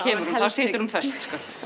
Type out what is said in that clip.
situr hún föst